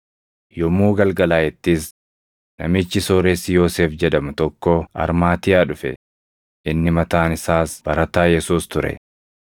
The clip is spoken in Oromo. Yommuu galgalaaʼettis namichi sooressi Yoosef jedhamu tokko Armaatiyaa dhufe; inni mataan isaas barataa Yesuus ture.